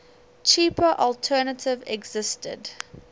cheaper alternative existed